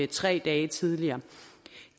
tre dage tidligere